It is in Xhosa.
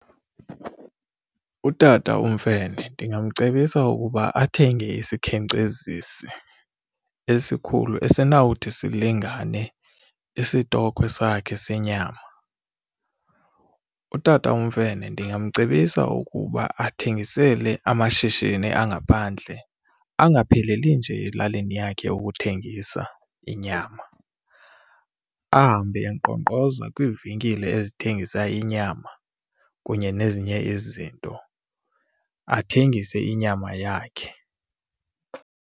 UTata uMfene ndingamcebisa ukuba athenge isikhenkcezisi esikhulu esinawukuthi silingane isitokhwe sakhe senyama. UTata uMfene ndingamcebisa ukuba athengisele amashishini angaphandle angapheleli nje elalini yakhe ukuthengisa inyam, ahambe enkqonkqoza kwiivenkile ezithengisa inyama kunye nezinye izinto, athengise inyama yakhe.